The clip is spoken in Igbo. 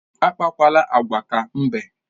Akpakwala agwa ka mbe!